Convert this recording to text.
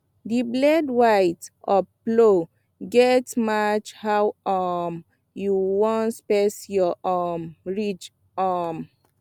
the blade width of plow gatz match how um you wan space your um ridge um